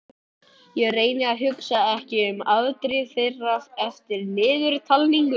Ég reyni að hugsa ekki um afdrif þeirra eftir niðurtalningu.